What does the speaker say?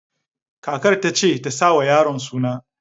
Kakar ta ce tasa wa yaron suna